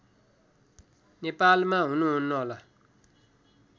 नेपालमा हुनुहुन्न होला